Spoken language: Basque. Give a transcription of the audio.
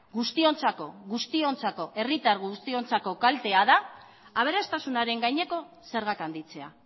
herritar guztiontzako kaltea da aberastasunaren gaineko zerga handitzea